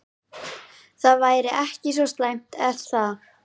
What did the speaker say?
Það væri ekki svo slæmt er það?